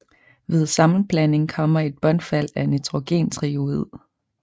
Ved sammenblanding kommer et bundfald af nitrogentriiodid